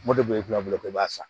Moriboli kungolo k'i b'a san